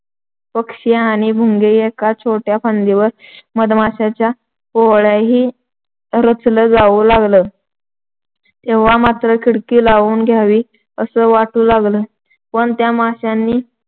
पक्षी आणि भुंगे एका छोट्या फांदीवर मधमाश्‍यांचं पोळंही रचलं जाऊ लागल. तेव्हा मात्र खिडकी लावून घ्यावी अस वाटू लागलं पण त्या माश्‍यांनी